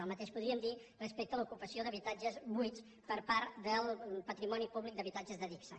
el mateix podríem dir respecte a l’ocupació d’habitatges buits per part del patrimoni públic d’habitatges d’adigsa